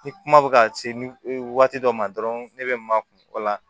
Ni kuma bɛ ka se waati dɔ ma dɔrɔn ne bɛ ma kun kɔ la